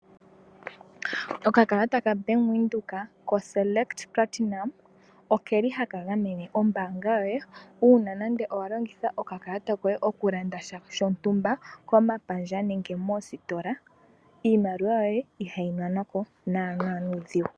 Oka kalata kabank windhoek koselect platinum okeli haka gamene ombanga yoye uuna nande oku landa sha shontumba komapandja nenge moositola iimaliwa yoye ihayi nanwa ko nana nuudhigu.